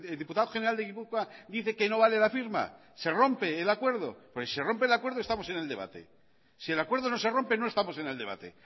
diputado general de gipuzkoa dice que no vale la firma se rompe el acuerdo porque si se rompe el acuerdo estamos en el debate y si el acuerdo no se rompe no estamos en el debate